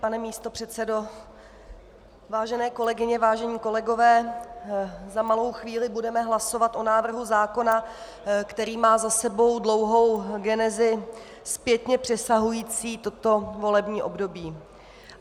Pane místopředsedo, vážené kolegyně, vážení kolegové, za malou chvíli budeme hlasovat o návrhu zákona, který má za sebou dlouhou genezi zpětně přesahující toto volební období.